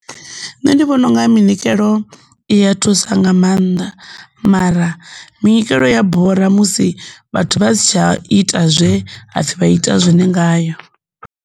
Nṋe ndi vhona unga minikelo Iya thusa nga mannḓa, mara minikelo i ya bora musi vhathu vha si tsha ita zwe hapfhi vha ite zwone ngayo.